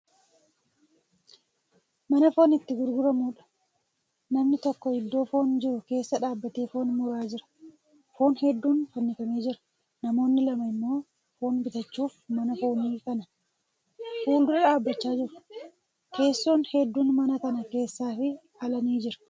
Mana foon itti gurguramudha. namni tokko iddoo foon jiru keessa dhaabatee foon muraa jira. foon hedduun fannifamee jira. namoonni lama immoo fooon bitachuuf mana foonii Kana. fuuldura dhaabachaa jiru. teessoon hedduun mana kana keessaafi ala ni jira.